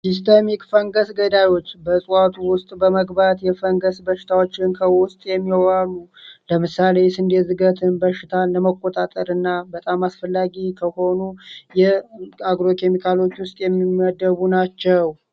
ሲስተሚክ ፈንገስ ገዳዮች በእጽዋቱ ውስጥ በመግባት የፈንገስ በሽታዎችን ከውስጥ የሚዋሉ ለምሳሌየስንዴ ዝገትን በሽታን ለመቆጣጠር እና በጣም አስፈላጊ ከሆኑ የአግሮኬሚካሎች ውስጥ የሚመደቡ ናቸው።